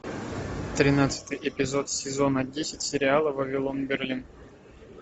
тринадцатый эпизод сезона десять сериала вавилон берлин